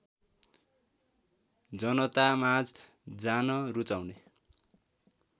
जनतामाझ जान रुचाउने